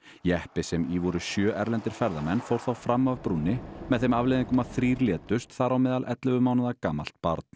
jeppi sem í voru sjö erlendir ferðamenn fór þá fram af brúnni með þeim afleiðingum að þrír létust þar á meðal ellefu mánaða gamalt barn